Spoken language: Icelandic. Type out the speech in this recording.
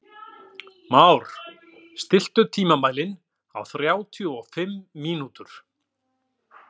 Már, stilltu tímamælinn á þrjátíu og fimm mínútur.